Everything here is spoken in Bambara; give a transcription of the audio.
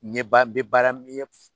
Ɲɛ ban n be baara min ye